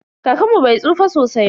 Kakanmu bai tsufa sosai ba.